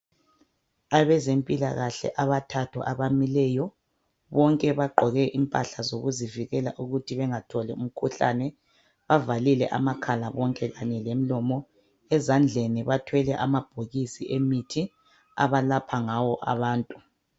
Abezempilakahle abathathu abamileyo bonke baqoke impahla zokuzivikela ukuthi bengatholi umkhuhlane, bavalile amakhala bonke kanye lemlomo. Ezandleni bathwele amabhokisi emithi abalapha ngawo abantu.